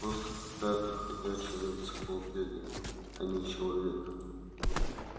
просто какая-то ходячая энциклопедия а не человек